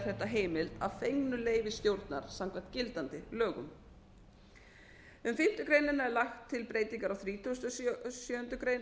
þetta heimilt að fengnu leyfi stjórnar samkvæmt gildandi lögum um fimmtu grein er lagt breytingar á þrítugasta og sjöundu grein